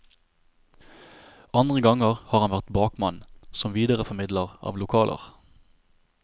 Andre ganger har han vært bakmann, som videreformidler av lokaler.